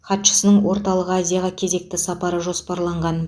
хатшысының орталық азияға кезекті сапары жоспарланған